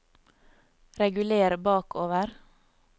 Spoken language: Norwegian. reguler bakover